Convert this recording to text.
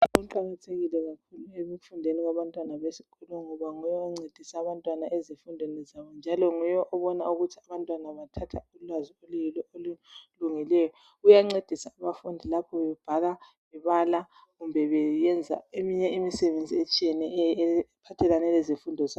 Umbalisi uqakathekile kakhulu ekufundeni kwabantwana besikolo ngoba nguye oncedisa abantwana ezifundweni zabo njalo nguye obona ukuthi abantwana bathatha ulwazi oluyilo olulungileyo uyancedisa abafundi lapho bebhala bebala kumbe beyenza eminye imisebenzi etshiyeneyo ephathelane lezifundo zabo.